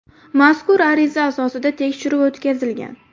Mazkur ariza asosida tekshiruv o‘tkazilgan.